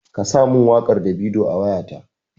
Ka sa min wakar Davido a wayata!